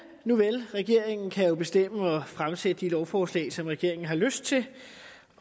nuvel regeringen kan jo bestemme og fremsætte de lovforslag som regeringen har lyst til